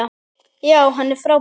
Já, hann er frábær.